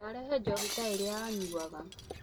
Ndarehire njohi ta ĩrĩa anyuaga